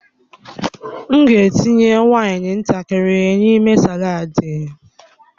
M ga-etinye waini ntakịrị n'ime saladi.